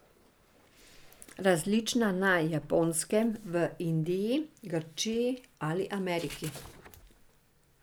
Različna na Japonskem, v Indiji, Grčiji ali Ameriki.